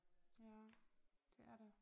Ja det er det